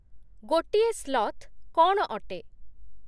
ଗୋଟିଏ ସ୍ଲଥ୍ କ'ଣ ଅଟେ?